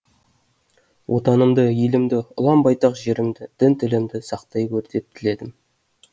отанымды елімді ұлан байтақ жерімді дін тілімді сақтай гөр деп тіледім